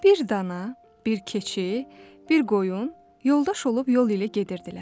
Bir dana, bir keçi, bir qoyun yoldaş olub yol ilə gedirdilər.